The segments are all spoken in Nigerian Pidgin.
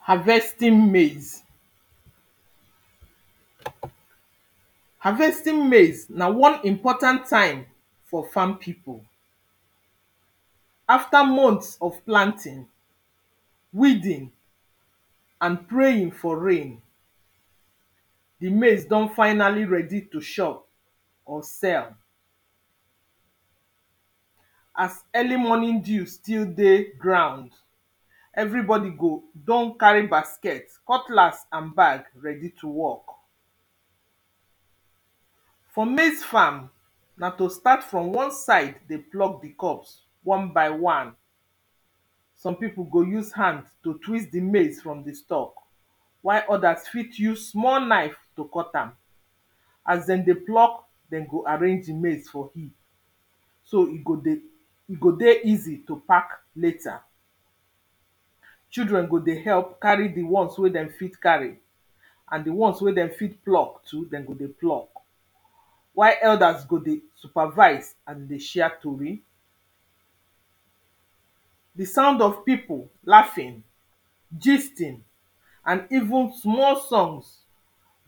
Harvesting maize Harvesting maize na one important time for farm people After months of planting pause weeding pause and praying for rain The maize don finally ready to chop pause or sell As early morning dew still dey ground pause. Everybody go don carry basket, cutlass and bag ready to work For maize farm, na to start from one side dey pluck the cob one by one Some people go use hand to twist the maize from the stalk, while others fit use small knife to cut am As dem dey pluck, dem go arrange the maize for, so e go dey, e go dey easy to pack later Children go dey help carry the ones wen dem fit carry and the ones wen dem fit pluck too, dem go dey pluck while elders go dey supervise and dey share tory The sound of people lafing pause gisting pause and even small songs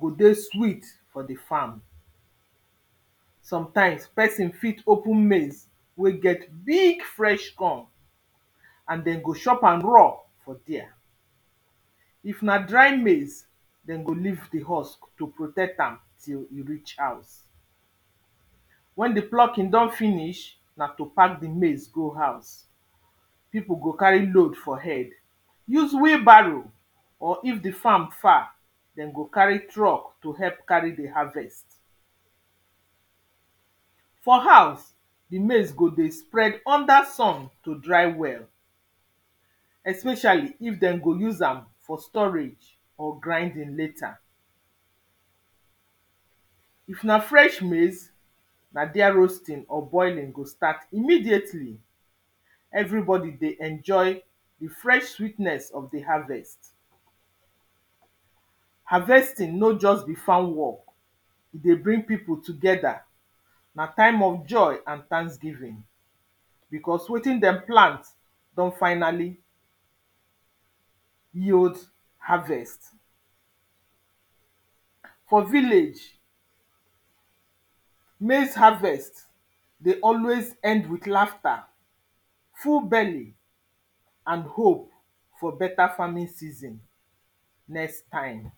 go dey sweet for the farm Pause. Sometimes person fit open maize, wey get big fresh corn And dem go chop raw for there pause. If na dry maize dem go leave the husk to protect am till you reach house. pause Wen the plucking don finish na to pack the maize go house people go carry load for head pause use wheelbarrow pause or if the farm far dem go carry truck to help carry the harvest pause For house The maize go dey spread under sun to dry well pause especially if dem go use am for storage or grinding later pause. if na fresh maize Na there roasting or boiling go start immediately pause. Everybody dey enjoy the fresh sweetness of the harvest pause, Harvesting nor just be farm work E dey bring people together. pause Na time of joy and thanksgiving Because wetin dem plant don finally pause yield harvest For village pause maize harvest dey always end with lafta pause full belly pause and hope for better farming season pause next time